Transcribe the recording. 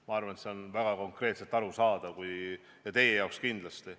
Ma arvan, et see on väga konkreetselt arusaadav, teie jaoks kindlasti.